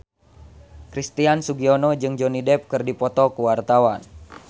Christian Sugiono jeung Johnny Depp keur dipoto ku wartawan